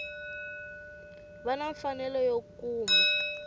va na mfanelo yo kuma